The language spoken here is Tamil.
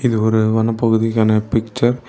இது ஒரு வனப்பகுதிக்கான பிச்சர் .